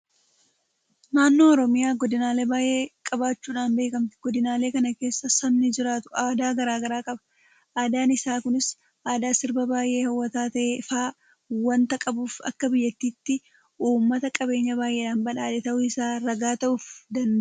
Naannoon Oromiyaa godinaalee baay'ee qabaachuudhaan beekamti. Godinaalee kana keessa sabni jiraatu aadaa garaa garaa qaba. Aadaan isaa kunis aadaa sirbaa baay'ee hawwataa ta'e fa'aa waanta qabuuf akka biyyaatti uummata qabeenya baay'eedhaan badhaadhe ta'uu isaa ragaa ta'uufii danda'eera.